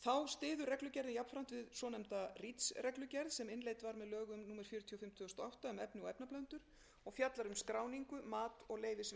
þá styður reglugerðin jafnframt við svonefnda reach reglugerð sem innleidd var með lögum númer fjörutíu og fimm tvö þúsund og átta um efni og efnablöndur og fjallar um skráningu mat og leyfisveitingu efna